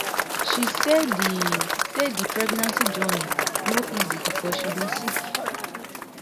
she say di say di pregnancy journey no easy becos she bin sick